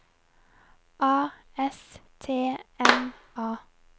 A S T M A